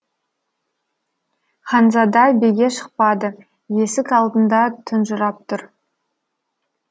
ханзада биге шықпады есік алдында тұнжырап тұр